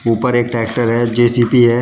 ऊपर एक ट्रैक्टर है जे_सी_बी है।